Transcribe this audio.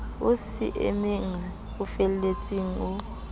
o semena o felletseng o